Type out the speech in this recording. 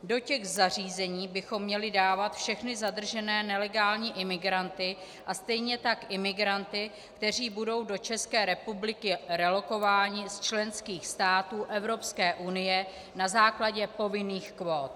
Do těch zařízení bychom měli dávat všechny zadržené nelegální imigranty a stejně tak imigranty, kteří budou do České republiky relokováni z členských států Evropské unie na základě povinných kvót.